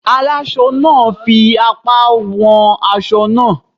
Alásọ náà fi apá wọn aṣọ náà.